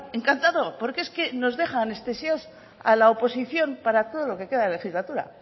encantado porque es que nos deja anestesiados a la oposición para todo lo que queda de legislatura